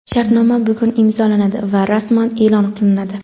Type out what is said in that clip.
Shartnoma bugun imzolanadi va rasman e’lon qilinadi.